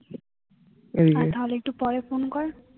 তাহলে একটু পরে ফোন কর